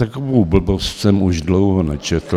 Takovou blbost jsem už dlouho nečetl.